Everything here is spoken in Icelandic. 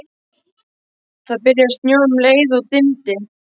Það byrjaði að snjóa um leið og dimmdi.